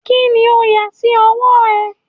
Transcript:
Kini o yà sí ọwọ́ ẹ?